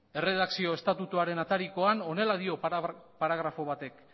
erredakzio estatutuaren aterikoan honela dio paragrafo batek